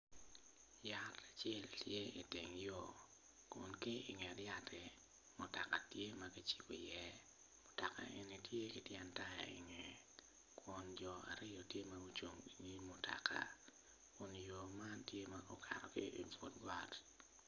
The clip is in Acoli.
Yat acel tye ki iteng yo kun ki inget yatti mutoka tye magicibo i ye mutoka eni tye i tyen taya i nge kun jo aryo tye magucung i nyim mutoka kun yo man tye okato ki but bat.